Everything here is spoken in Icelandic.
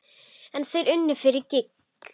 En þeir unnu fyrir gýg.